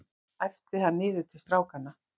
æpti hann niður til strákanna.